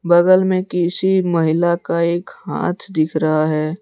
बगल में किसी महिला का एक हाथ दिख रहा है।